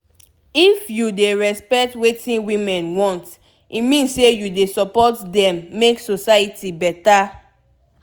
if you dey respect wetin women want e mean say u dey support dem make society beta